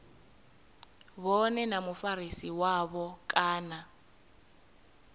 vhone na mufarisi wavho kana